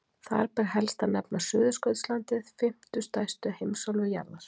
Þar ber helst að nefna Suðurskautslandið, fimmtu stærstu heimsálfu jarðar.